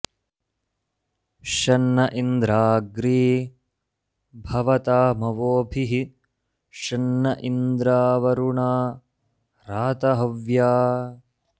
शं न इन्द्राग्री भवतामवोभिः शं न इन्द्रावरुणा रातहव्या